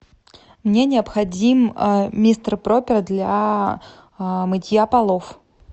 мне необходим мистер пропер для мытья полов